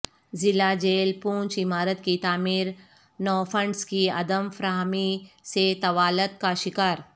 ضلع جیل پونچھ عمارت کی تعمیر نوفنڈزکی عدم فراہمی سے طوالت کاشکار